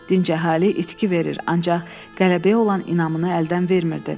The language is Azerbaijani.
Dinc əhali itki verir, ancaq qələbəyə olan inamını əldən vermirdi.